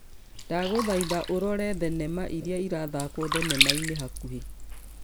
dagũthaitha ũrore thenema ĩria ĩrathakwo thenema-inĩ hakũhi